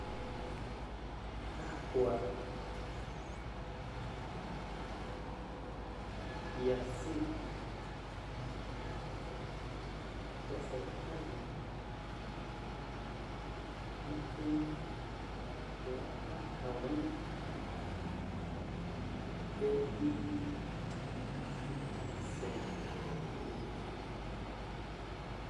kakwa kiasin esirkali ituum te account E-citizen?